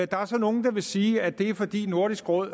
der er så nogle der vil sige at det er fordi nordisk råd